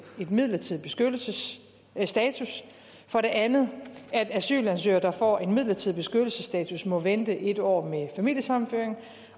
midlertidig beskyttelsesstatus og for det andet at asylansøgere der får en midlertidig beskyttelsesstatus må vente et år med familiesammenføring